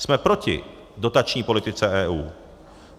Jsme proti dotační politice EU.